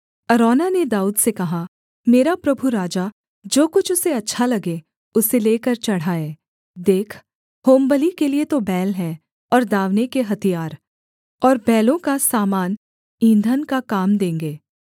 अरौना ने दाऊद से कहा मेरा प्रभु राजा जो कुछ उसे अच्छा लगे उसे लेकर चढ़ाए देख होमबलि के लिये तो बैल हैं और दाँवने के हथियार और बैलों का सामान ईंधन का काम देंगे